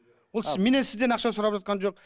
менен сізден ақша сұрап жатқан жоқ